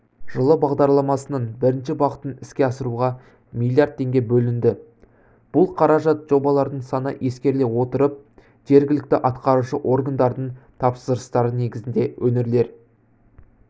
жылы бағдарламасының бірінші бағытын іске асыруға миллиард теңге бөлінді бұл қаражат жобалардың саны ескеріле отырып жергілікті атқарушы органдардың тапсырыстары негізінде өңірлер